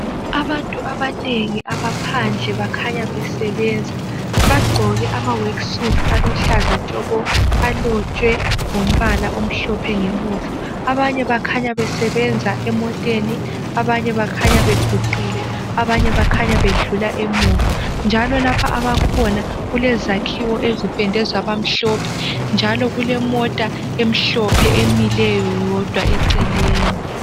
Abantu abanengi abaphandle bakhanya besebenza bagqoke amaworksuit aluhlaza tshoko alotshwe ngombala omhlophe ngemuva, abanye bakhanya besebenza emoteni, abanye bakhanya beguqile, abanye bakhanya bedlula emuva njalo lapha abakhona kulezakhiwo ezipendwe zaba mhlophe njalo kulemota emhlophe emileyo yodwa eceleni.